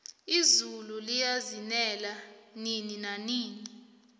izulu liyazinela nini nanini